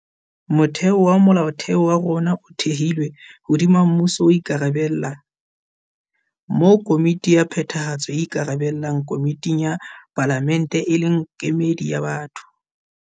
Motheo wa Molaotheo wa rona o thehilwe hodima mmuso o ikarabella, moo Komiti ya Phethahatso e ikarabellang komiting ya Palamente e leng kemedi ya batho.